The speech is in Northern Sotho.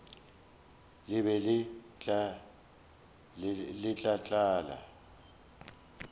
le be le tla tlala